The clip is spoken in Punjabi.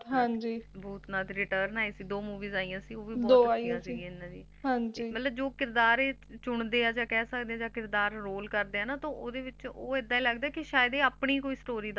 ਭੂਤਨਾਥ Return ਆਈ ਸੀ ਦੋ Movie ਆਇਆ ਸੀ ਓਹ ਵੀ ਬਹੁਤ ਵਧੀਆ ਸੀ ਇਹਨਾਂ ਦੀ ਮਤਲਬ ਜੌ ਕਿਰਦਾਰ ਇਹ ਚੁਣਦੇ ਹੈ ਯਾ ਕਹਿ ਸਕਦੇ ਆ ਜਾ Role ਕਰਦੇ ਆ ਨਾ ਤਨ ਓਹਦੇ ਵਿੱਚ ਏਡਾ ਲਗਦਾ ਜਿੱਦਾ ਓਹ ਸੋਨੀ ਹੀ ਕੋਈ Story ਦਸ ਰਹੇ ਹੁੰਦੇ ਏ